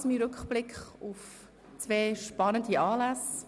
Das war mein Rückblick auf zwei spannende Anlässe.